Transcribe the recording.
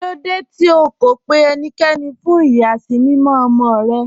Kílòdé tí ó kó pẹ̀ ẹníkẹ́ní fún iyasimimọ̀ ọmọ́ rẹ̀?